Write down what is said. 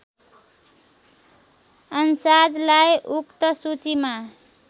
अन्साजलाई उक्त सूचीमा